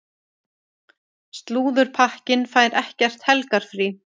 Slúðurpakkinn fær ekkert helgarfrí.